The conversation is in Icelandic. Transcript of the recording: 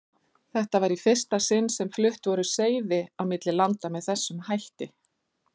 Þetta var í fyrsta sinni sem flutt voru seiði á milli landa með þessum hætti.